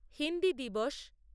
হিন্দি দিবস